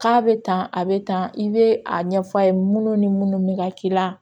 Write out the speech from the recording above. K'a bɛ tan a bɛ tan i bɛ a ɲɛf'a ye minnu ni minnu bɛ ka k'i la